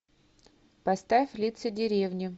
поставь лица деревни